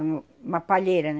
uma palheira, né?